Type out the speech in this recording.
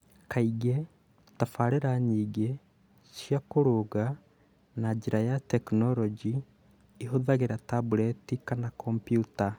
Kaingĩ, tabarĩĩra nyingĩ cia kũrũnga na njĩra ya tekinolonjĩ ihũthagĩra tableti kana kompiuta.